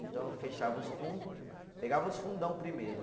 Então, eu fechava os fundo, pegava os fundão primeiro.